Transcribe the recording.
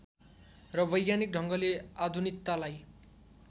र वैज्ञानिक ढङ्गले आधुनिकतालाई